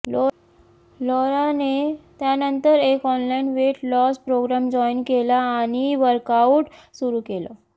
लॉराने त्यानंतर एक online weight loss program join केला आणि वर्कआउट सुरू केलं